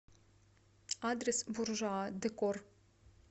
адрес буржуа декор